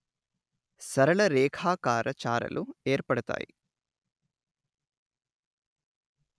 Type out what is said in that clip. సరళరేఖాకార చారలు ఏర్పడతాయి